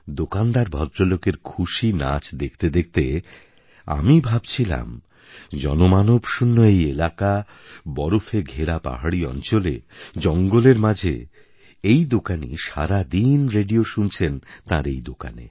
দোকানদার ভদ্রলোকের খুশি নাচ দেখতে দেখতে আমি ভাবছিলাম জনমানবশূণ্য এই এলাকা বরফে ঘেরা পাহাড়ী অঞ্চলে জঙ্গলের মাঝে এই দোকানী সারাদিন রেডিও শুনছেন তাঁর এই দোকানে